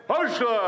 Marşla!